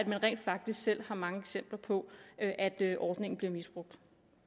man rent faktisk selv har mange eksempler på at at ordningen bliver misbrugt